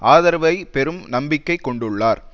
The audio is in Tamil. ஆதரவை பெறும் நம்பிக்கை கொண்டுள்ளார்